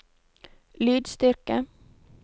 lydstyrke